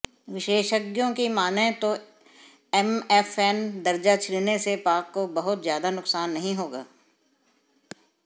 विशेषज्ञों की मानें तो एमएफएन दर्जा छिनने से पाक को बहुत ज्यादा नुकसान नहीं होगा